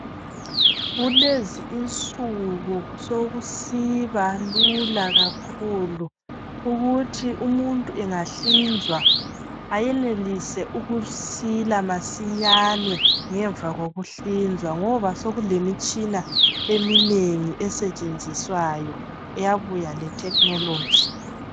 Kulezi insuku sokusiba lula kakhulu ukuthi umuntu engahlinzwa ayenelise ukusila masinyane ngemva kokuhlinza ngoba sokulemitshina eminengi esetshenzwiswayo eyabuya letechnogy.